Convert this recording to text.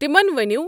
تِمن ونِیو